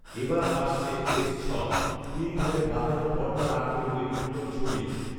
এবার আসছে এস ছয়। তিন ধারে বাঁকানো পর্দা রাখবে বলে গুঞ্জন ছড়িয়েছে